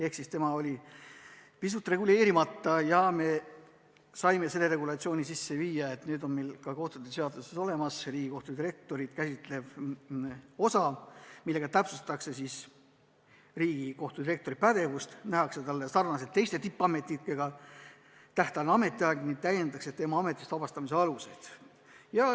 Tema staatus oli pisut reguleerimata ja me saime selle regulatsiooni sisse viia, nüüd on meil ka kohtute seaduses olemas Riigikohtu direktorit käsitlev osa, millega täpsustatakse Riigikohtu direktori pädevust, nähakse talle sarnaselt teiste tippametnikega ette tähtajaline ametiaeg ning täiendatakse tema ametist vabastamise aluseid.